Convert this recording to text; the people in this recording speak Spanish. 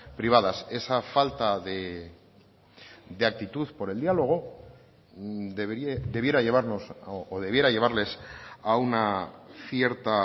privadas esa falta de actitud por el diálogo debiera llevarnos o debiera llevarles a una cierta